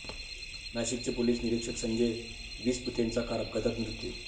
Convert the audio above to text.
नाशिकचे पोलीस निरीक्षक संजय विसपुतेंचा कार अपघातात मृत्यू